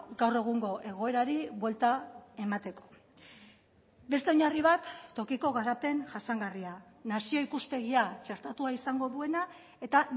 gaur egungo egoerari buelta emateko beste oinarri bat tokiko garapen jasangarria nazio ikuspegia txertatua izango duena eta